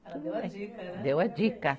Ela deu a dica, né? Deu a dica.